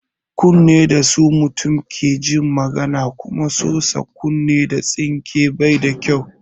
Kunne da su mutum ke jin magana kuma sosa kunne da tsinke bai da kyau.